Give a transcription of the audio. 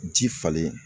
Ji falenlen